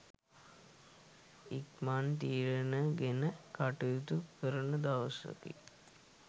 ඉක්මන් තීරණ ගෙන කටයුතු කරන දවසකි.